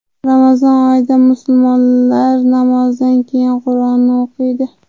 Ramazon oyida musulmonlar namozdan keyin Qur’onni o‘qiydi.